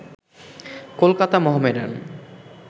Kolkata Mohammedan